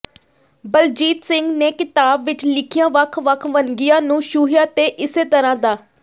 ਬਲਜੀਤ ਸਿੰਘ ਨੇ ਕਿਤਾਬ ਵਿੱਚ ਲਿਖੀਆਂ ਵੱਖ ਵੱਖ ਵੰਨਗੀਆਂ ਨੂੰ ਛੂਹਿਆ ਤੇ ਇਸੇ ਤਰਾਂ ਡਾ